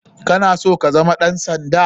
Kana so kazama ɗan sanda?